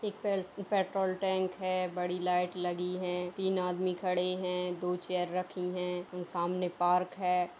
एक पेल्ट petrol tank है बड़ी लाइट लगी हैं तीन आदमी खड़े हैं दो चेयर रखी हैं और सामने पार्क है।